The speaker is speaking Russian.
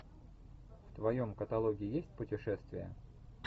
в твоем каталоге есть путешествия